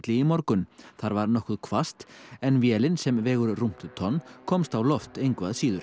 í morgun þar var nokkuð hvasst en vélin sem vegur rúmt tonn komst á loft engu að síður